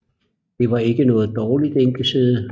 Det var ikke noget dårligt enkesæde